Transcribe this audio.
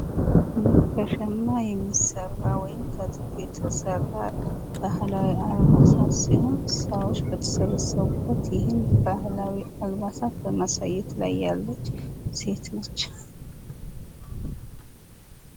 ይህ ከሸማ የሚሠራ ወይም ከጥጥ የተሰራ ባህላዊ አልባሳት ሲሆን ሰዎች በተሰበሰቡበት ይህን ባህላዊ አልባሳት በማሳየት ላይ ያለች ሴት ነች።